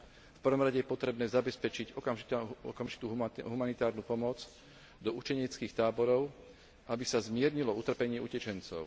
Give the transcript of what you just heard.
V prvom rade je potrebné zabezpečiť okamžitú humanitárnu pomoc do utečeneckých táborov, aby sa zmiernilo utrpenie utečencov.